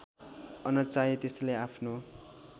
अनचाहे त्यसैलाई आफ्नो